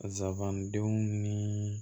Zabandenw ni